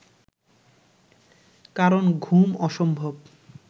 কারণ ঘুম অসম্ভব